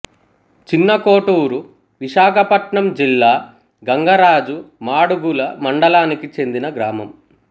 చిన్నకొటూరూ విశాఖపట్నం జిల్లా గంగరాజు మాడుగుల మండలానికి చెందిన గ్రామం